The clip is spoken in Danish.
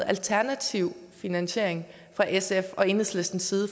alternativ finansiering fra sfs og enhedslistens side